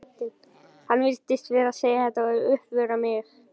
Hann virtist vera að segja þetta til að uppörva mig.